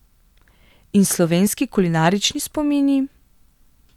In slovenski kulinarični spomini?